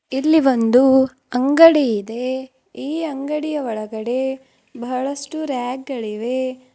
ಇಲ್ಲಿ ಒಂದು ಅಂಗಡಿ ಇದೆ ಈ ಅಂಗಡಿಯ ಒಳಗಡೆ ಬಹಳಷ್ಟು ರ್ಯಾಕ್ ಗಳಿವೆ.